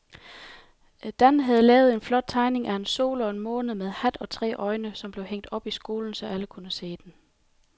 Dan havde lavet en flot tegning af en sol og en måne med hat og tre øjne, som blev hængt op i skolen, så alle kunne se den.